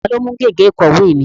Ta ni ó mú gègé ìkọ̀wé mi?